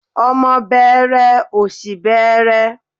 Ọmọ bẹẹrẹ òṣì bẹẹrẹ.